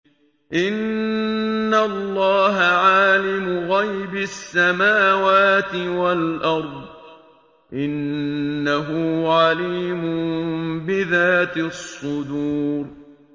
إِنَّ اللَّهَ عَالِمُ غَيْبِ السَّمَاوَاتِ وَالْأَرْضِ ۚ إِنَّهُ عَلِيمٌ بِذَاتِ الصُّدُورِ